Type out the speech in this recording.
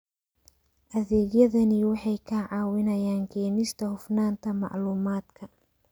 Adeegyadani waxay ka caawinayaan keenista hufnaanta macluumaadka.